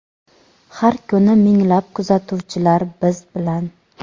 Har kuni minglab kuzatuvchilar biz bilan!.